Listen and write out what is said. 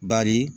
Bari